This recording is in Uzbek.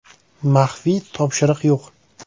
Maxfiy topshiriq yo‘q.